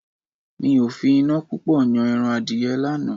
Mi ò fi iná púpọ̀ yan ẹran Adìyẹ lánàá.